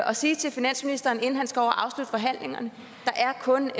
og sige til finansministeren inden han skal over og afslutte forhandlingerne der er kun